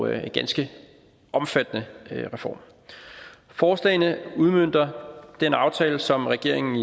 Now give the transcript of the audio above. en ganske omfattende reform forslagene udmønter den aftale som regeringen